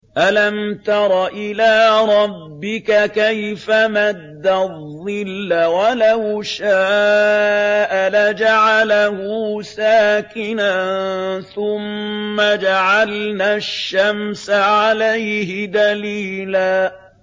أَلَمْ تَرَ إِلَىٰ رَبِّكَ كَيْفَ مَدَّ الظِّلَّ وَلَوْ شَاءَ لَجَعَلَهُ سَاكِنًا ثُمَّ جَعَلْنَا الشَّمْسَ عَلَيْهِ دَلِيلًا